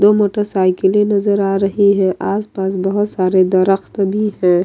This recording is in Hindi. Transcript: दो मोटर साइकिलें नजर आ रही है आसपास बहुत सारे दरख़्त भी हैं।